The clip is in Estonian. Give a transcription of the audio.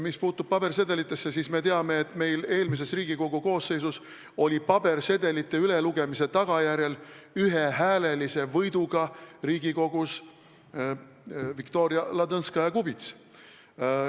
Mis puutub pabersedelitesse, siis me teame, et eelmises Riigikogu koosseisus sai pabersedelite ülelugemise tagajärjel ühehäälelise võiduga Riigikokku Viktoria Ladõnskaja-Kubits.